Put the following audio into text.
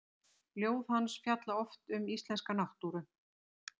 Ljóð hans fjalla oft um íslenska náttúru.